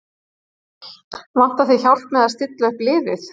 Vantar þig hjálp með að stilla upp liðið?